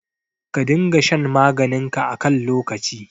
Ka dinga shan maganinka a kan lokaci.